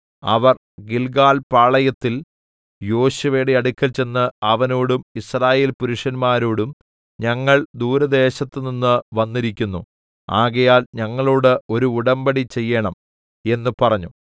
അവർ Gilgal പാളയത്തിൽ യോശുവയുടെ അടുക്കൽ ചെന്ന് അവനോടും യിസ്രായേൽപുരഷന്മാരോടും ഞങ്ങൾ ദൂരദേശത്തുനിന്ന് വന്നിരിക്കുന്നു ആകയാൽ ഞങ്ങളോട് ഒരു ഉടമ്പടിചെയ്യേണം എന്ന് പറഞ്ഞു